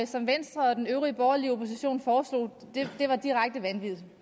som venstre og den øvrige borgerlige opposition foreslog var direkte